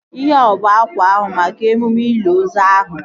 Ihea ọ bụ akwa ahụ maka emume ili ozu ahụ?